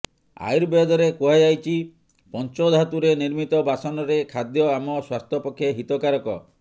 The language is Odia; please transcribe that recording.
ଆୟୁର୍ବେଦରେ କୁହାଯାଇଛି ପଂଚଧାତୁରେ ନିର୍ମିତ ବାସନରେ ଖାଦ୍ୟ ଆମ ସ୍ୱାସ୍ଥ୍ୟ ପକ୍ଷେ ହିତକାରକ